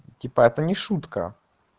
типа это не шутка